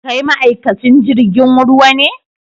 Kai ma'aikacin jirigin ruwa ne?